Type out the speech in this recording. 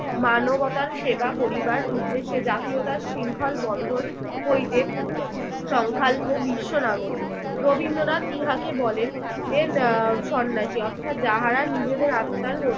মানবতার সেবা করিবার উদ্দেশে জাতীয়তার শৃঙ্খল বন্ধন হইতে সংখ্যাল্প বিশ্ব নাগরিক। রবীন্দ্রনাথ ইহাকে বলেন এন আহ সন্ন্যাসী অর্থাৎ যাহারা নিজেদের আত্মার